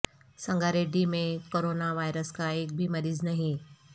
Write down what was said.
سنگاریڈی میں corona virus کا ایک بھی مریض نہیں